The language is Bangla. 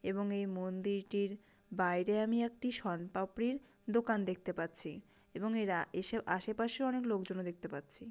এবং এই মন্দিরটির বাইরে আমি একটি সন পাপড়ির দোকান দেখতে পাচ্ছি এবং এরা এসব আশেপাশে অনেক লোকজন দেখতে পাচ্ছি।